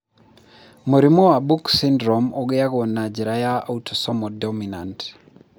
Mũrimũ wa Book syndrome ũgiagwo na njĩra ya autosomal dominant.